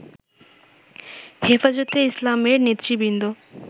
হেফাজতে ইসলামের নেতৃবৃন্দ